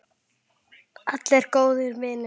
Allir góðir vinir.